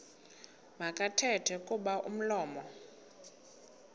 makathethe kuba umlomo